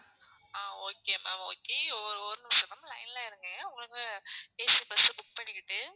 ஆஹ் okay ma'am okay ஒரு நிமிஷம் ma'am line ல இருங்க உங்களுக்கு AC bus book பண்ணிக்கிட்டு